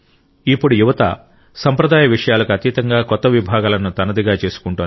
ఇప్పుడు యువత సంప్రదాయ విషయాలకు అతీతంగా కొత్త విభాగాలను తనదిగా చేసుకుంటోంది